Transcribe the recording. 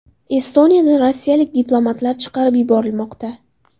Estoniyadan rossiyalik diplomatlar chiqarib yuborilmoqda.